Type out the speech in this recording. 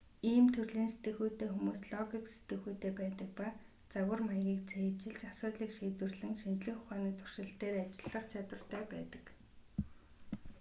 ийм төрлийн сэтгэхүйтэй хүмүүс логик сэтгэхүйтэй байдаг ба загвар маягийг цээжилж асуудлыг шийдвэрлэн шинжлэх ухааны туршилт дээр ажиллах чадвартай байдаг